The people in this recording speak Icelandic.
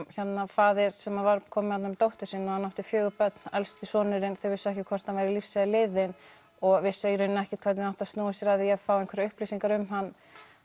faðir sem kom með dóttur sína og hann átti fjögur börn en elsti sonurinn þau vissu ekki hvort hann var lífs eða liðinn og vissu í raun ekki hvernig þau áttu að snúa sér að því að fá einhverjar upplýsingar um hann